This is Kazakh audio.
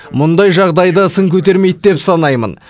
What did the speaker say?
мұндай жағдайды сын көтермейді деп санаймын